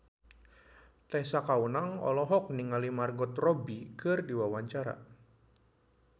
Tessa Kaunang olohok ningali Margot Robbie keur diwawancara